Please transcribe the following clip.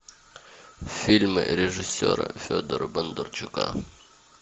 фильмы режиссера федора бондарчука